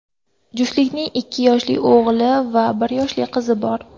Juftlikning ikki yoshli o‘g‘li va bir yoshli qizi bor.